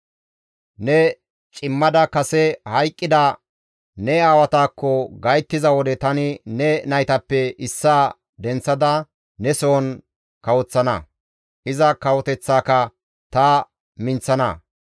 Ne cimmada kase hayqqida ne aawatan gayttiza wode tani ne naytappe issaa denththada ne sohon kawoththana; iza kawoteththaaka ta minththana.